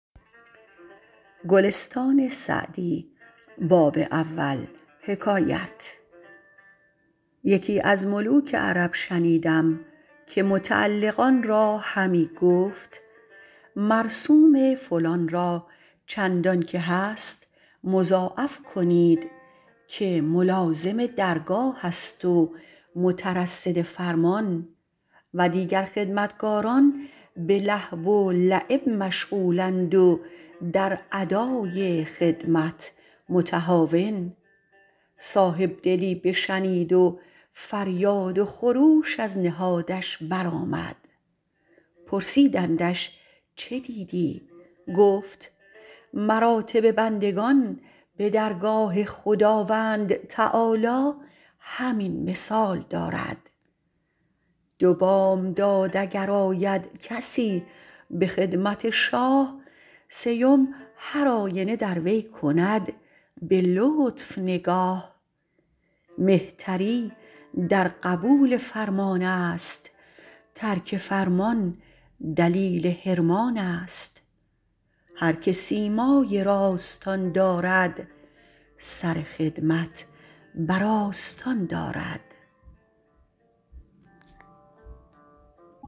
یکی از ملوک عرب شنیدم که متعلقان را همی گفت مرسوم فلان را چندان که هست مضاعف کنید که ملازم درگاه است و مترصد فرمان و دیگر خدمتکاران به لهو و لعب مشغول اند و در ادای خدمت متهاون صاحب دلی بشنید و فریاد و خروش از نهادش بر آمد پرسیدندش چه دیدی گفت مراتب بندگان به درگاه خداوند تعالیٰ همین مثال دارد دو بامداد اگر آید کسی به خدمت شاه سیم هرآینه در وی کند به لطف نگاه مهتری در قبول فرمان است ترک فرمان دلیل حرمان است هر که سیمای راستان دارد سر خدمت بر آستان دارد